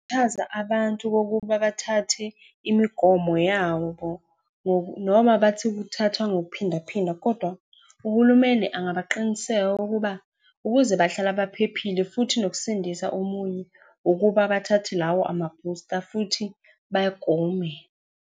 abantu kokuba bathathe imigomo yabo noma bathi kuthathwa ngokuphinda phinda, kodwa uhulumeni angabaqiniseka ukuba ukuze bahlala baphephile, futhi nokusindisa omunye, ukuba bathathe lawo ma-booster futhi bagome.